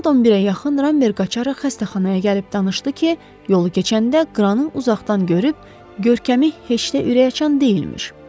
Saat 11-ə yaxın Ramber qaçaraq xəstəxanaya gəlib danışdı ki, yolu keçəndə qranı uzaqdan görüb, görkəmi heç də ürəkaçan deyilmiş.